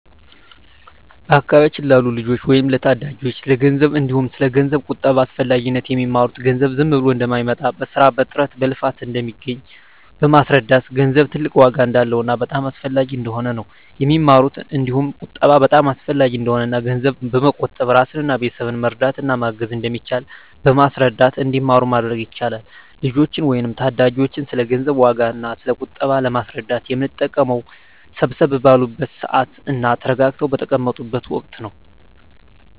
በአካባቢያችን ላሉ ልጆች ወይም ለታዳጊዎች ስለ ገንዘብ እንዲሁም ስለ ገንዘብ ቁጠባ አስፈላጊነት የሚማሩት ገንዘብ ዝም ብሎ እንደማይመጣ በስራ በጥረት በልፋት እንደሚገኝ በማስረዳት ገንዘብ ትልቅ ዋጋ እንዳለውና በጣም አስፈላጊ እንደሆነ ነው የሚማሩት እንዲሁም ቁጠባ በጣም አሰፈላጊ እንደሆነና እና ገንዘብ በመቆጠብ እራስንና ቤተሰብን መርዳት እና ማገዝ እንደሚቻል በማስረዳት እንዲማሩ ማድረግ ይቻላል። ልጆችን ወይም ታዳጊዎችን ስለ ገንዘብ ዋጋ እና ስለ ቁጠባ ለማስረዳት የምንጠቀመው ሰብሰብ ባሉበት ስዓት እና ተረጋግተው በተቀመጡት ወቀት ነው።